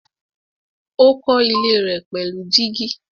Ó kọ́ ilé rẹ̀ pẹ̀lú gíjí.